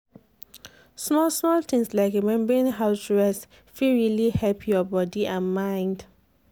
small-small things like remembering to rest fit really help your body and mind.